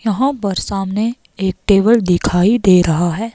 यहाँ पर सामने एक टेबल दिखाई दे रहा है।